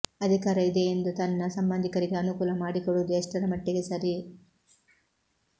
ಅಧಿಕಾರ ಇದೆ ಎಂದು ತನ್ನ ಸಂಬಂಧಿಕರಿಗೆ ಅನುಕೂಲ ಮಾಡಿಕೊಡುವುದು ಎಷ್ಟರಮಟ್ಟಿಗೆ ಸರಿ